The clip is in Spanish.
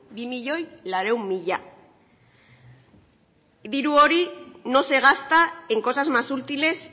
dos millónes cuatrocientos mil diru hori no se gasta en cosas más útiles